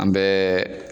An bɛɛ